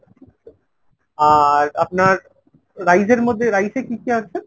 আর আপনার rice এর মধ্যে rice এ কী কী আছে ?